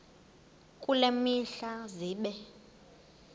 kule mihla zibe